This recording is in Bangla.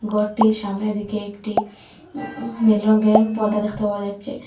গরটির সামনের দিকে একটি উম নীল রঙ্গের পর্দা দেখতে পাওয়া যাচ্চে ।